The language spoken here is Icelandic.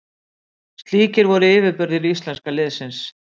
Slíkir voru yfirburðir íslenska liðsins.